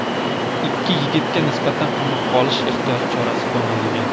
Ikki yigitga nisbatan qamoqqa olish ehtiyot chorasi qo‘llanilgan.